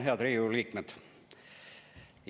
Head Riigikogu liikmed!